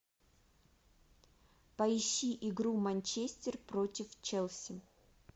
поищи игру манчестер против челси